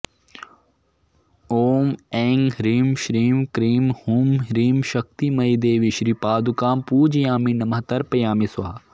ॐ ऐं ह्रीं श्रीं क्रीं हूं ह्रीं शक्तिमयीदेवी श्रीपादुकां पूजयामि नमः तर्पयामि स्वाहा